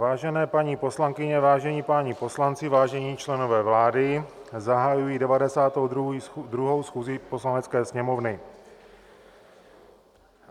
Vážené paní poslankyně, vážení páni poslanci, vážení členové vlády, zahajuji 92. schůzi Poslanecké sněmovny.